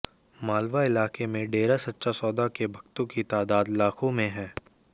मालवा इलाके में डेरा सच्चा सौदा के भक्तों की तादात लाखों में है